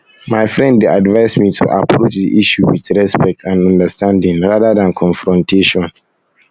my friend dey advise me to approach the issue with respect and understanding rather than confrontation